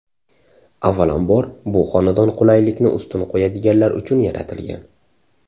Avvalom bor, bu xonadon qulaylikni ustun qo‘yadiganlar uchun yaratilgan.